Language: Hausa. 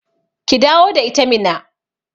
Ki dawo da ita Minna